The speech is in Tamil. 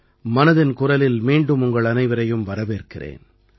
மனதின் குரலில் மீண்டும் உங்கள் அனைவரையும் வரவேற்கிறேன்